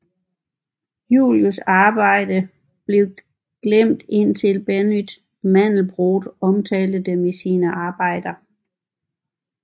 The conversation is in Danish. Julias arbejder blev glemt indtil Benoît Mandelbrot omtalte dem i sine arbejder